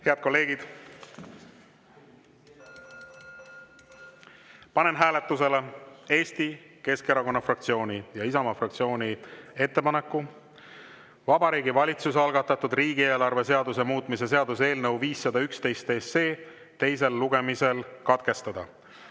Head kolleegid, panen hääletusele Eesti Keskerakonna fraktsiooni ja Isamaa fraktsiooni ettepaneku Vabariigi Valitsuse algatatud riigieelarve seaduse muutmise seaduse eelnõu 511 teine lugemine katkestada.